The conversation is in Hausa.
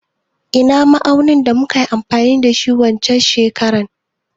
Ina ma'aunin da muka yi amfani da shi waccen shekarar?